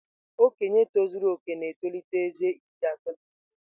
Okenye tozuru oke na-etolite ezé iri atọ na abụọ.